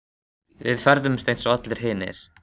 Við ferðumst eins og allir hinir.